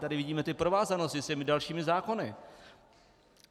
Tady vidíme ty provázanosti s těmi dalšími zákony.